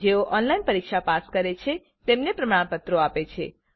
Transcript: જેઓ ઓનલાઇન પરીક્ષા પાસ કરે છે તેમને પ્રમાણપત્ર આપે છે